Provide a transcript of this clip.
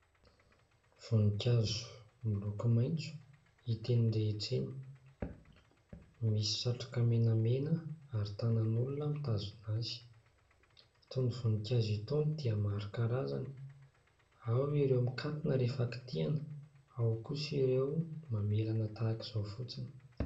Voninkazo miloko maitso hita eny rehetra eny, misy satroka menamena ary tanan'olona mitazona azy. Itony voninkazo itony dia maro karazany : ao ireo mikatona rehefa kitiana, ao kosa ireo mamelana tahaka izao fotsiny.